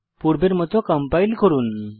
পূর্বের মত কম্পাইল করুন